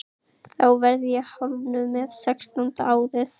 Þá verð ég hálfnuð með sextánda árið.